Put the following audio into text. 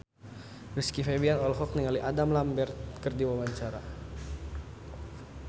Rizky Febian olohok ningali Adam Lambert keur diwawancara